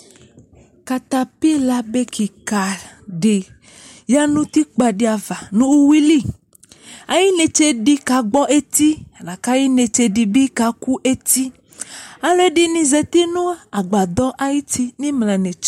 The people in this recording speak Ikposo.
Katapila be keka de ya nɔ utikpa de ava no uwiliAye netse de ka gbɔ eti, ka aye netse de be ka ku eti Aluɛde ne zati no agbadɔ ayiti no emla netse